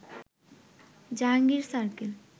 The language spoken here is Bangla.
জাহাঙ্গীর সার্কেল